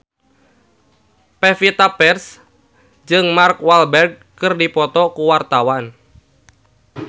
Pevita Pearce jeung Mark Walberg keur dipoto ku wartawan